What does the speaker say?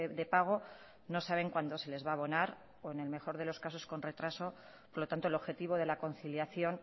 de pago no saben cuándo se les va a abonar o en el mejor de los casos con retraso por lo tanto el objetivo de la conciliación